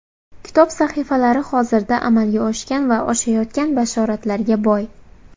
Kitob sahifalari hozirda amalga oshgan va oshayotgan bashoratlarga boy.